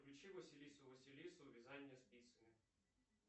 включи василису василису вязание спицами